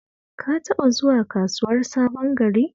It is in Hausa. Ka taɓa zuwa Kasuwar Sabon Gari?